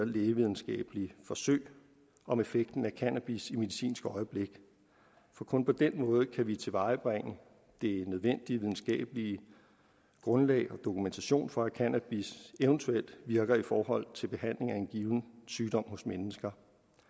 lægevidenskabelige forsøg om effekten af cannabis i medicinsk øjemed for kun på den måde kan vi tilvejebringe det nødvendige videnskabelige grundlag og den dokumentation for at cannabis eventuelt virker i forhold til behandling af en given sygdom hos mennesker